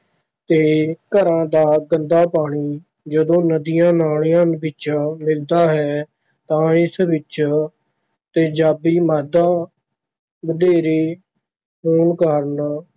ਤੇ ਘਰਾਂ ਦਾ ਗੰਦਾ ਪਾਣੀ ਜਦੋਂ ਨਦੀਆਂ ਨਾਲਿਆਂ ਵਿੱਚ ਮਿਲਦਾ ਹੈ ਤਾਂ ਇਸ ਵਿੱਚ ਤੇਜ਼ਾਬੀ ਮਾਦਾ ਵਧੇਰੇ ਹੋਣ ਕਾਰਨ